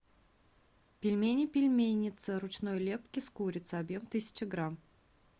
пельмени пельменница ручной лепки с курицей объем тысяча грамм